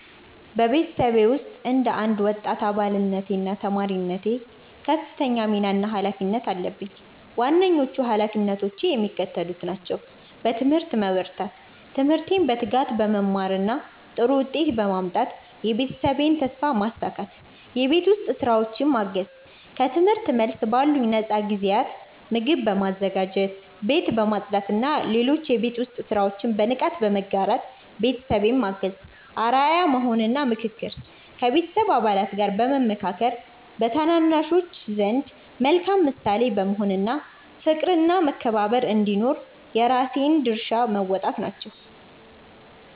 በቤተሰቤ ውስጥ እንደ አንድ ወጣት አባልነቴና ተማሪነቴ ከፍተኛ ሚና እና ኃላፊነት አለብኝ። ዋነኞቹ ኃላፊነቶቼ የሚከተሉት ናቸው፦ በትምህርት መበርታት፦ ትምህርቴን በትጋት በመማርና ጥሩ ውጤት በማምጣት የቤተሰቤን ተስፋ ማሳካት። የቤት ውስጥ ሥራዎችን ማገዝ፦ ከትምህርት መልስ ባሉኝ ነፃ ጊዜያት ምግብ በማዘጋጀት፣ ቤት በማጽዳትና ሌሎች የቤት ውስጥ ሥራዎችን በንቃት በመጋራት ቤተሰቤን ማገዝ። አርአያ መሆን እና ምክክር፦ ከቤተሰብ አባላት ጋር በመመካከር፣ በታናናሾች ዘንድ መልካም ምሳሌ በመሆን እና ፍቅርና መከባበር እንዲኖር የራሴን ድርሻ መወጣት ናቸው።